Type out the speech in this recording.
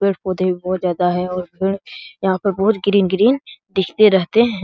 पेड़-पौधे भी बहुत ज्यादा है और पेड़ यहाँ पर बहुत ग्रीन ग्रीन दिखते रहते --